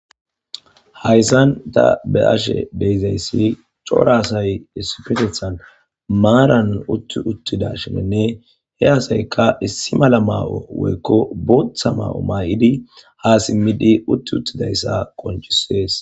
Haysan tha be7ashee de7izayssi cora asay issipetheththan maaran uththi uththidaashiininne he asaykka issi mala maa7o woykko booththa maa7o maa7idi ha simmidi uthth7uththidayssa qonccissees.